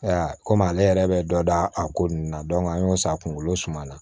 kɔmi ale yɛrɛ bɛ dɔ da a ko nunnu na an y'o san kunkolo suman la